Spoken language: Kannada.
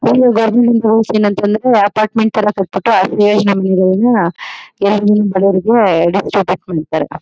ಇನ್ನು ಗವರ್ನಮೆಂಟ್ ರೂಲ್ಸ್ ಏನಂತಂದ್ರೆ ಅಪಾರ್ಟ್ಮೆಂಟ್ ಥರ ಕಟ್ಬಿಟ್ಟು ಬಡೋವ್ರಿಗೆ